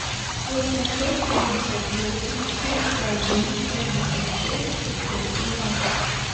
восемьсот семьдесят восемь четыреста один семьдесят шесть шестьсот семнадцать